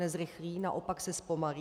Nezrychlí, naopak se zpomalí.